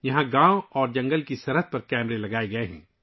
یہاں گاؤں اور جنگل کی سرحد پر کیمرے لگائے گئے ہیں